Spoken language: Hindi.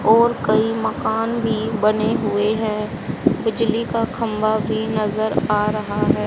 और कई मकान भीं बने हुए है बिजली का खंभा भी नजर आ रहा है।